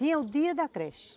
Tinha o dia da creche.